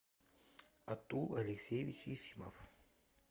атул алексеевич есимов